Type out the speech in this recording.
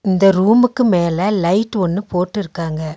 இந்த ரூமுக்கு மேல லைட் ஒன்னு போட்டுருக்காங்க.